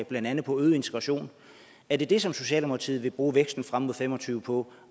blandt andet på øget integration er det det som socialdemokratiet vil bruge væksten frem og fem og tyve på